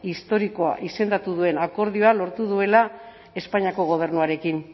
historikoa izendatu duen akordioa lortu duela espainiako gobernuarekin